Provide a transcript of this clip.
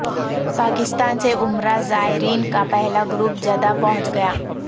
پاکستان سے عمرہ زائرین کا پہلا گروپ جدہ پہنچ گیا